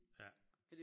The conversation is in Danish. Ja